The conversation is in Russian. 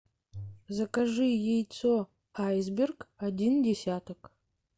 закажи яйцо айсберг один десяток